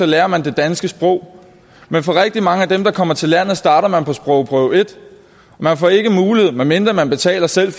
lærer man det danske sprog men for rigtig mange af dem der kommer til landet starter man på sprogprøve et man får ikke mulighed medmindre man betaler selv